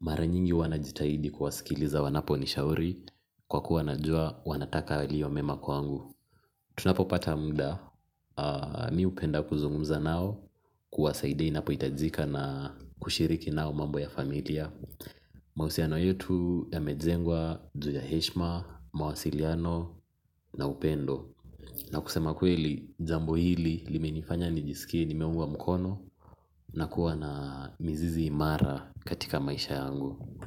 mara nyingi huwa najitahidi kuwasikiliza wanapo nishauri kwa kuwa najua wanataka yaliyo mema kwangu. Tunapopata muda mi hupenda kuzungumza nao kuwasaidia inapohitajika na kushiriki nao mambo ya familia mahusiano yetu yamejengwa ju ya heshima, mawasiliano na upendo na kusema kweli jambo hili limenifanya nijiskie nimeungwa mkono na kuwa na mizizi imara katika maisha yangu.